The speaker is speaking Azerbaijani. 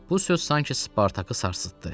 Bu söz sanki Spartakı sarsıtdı.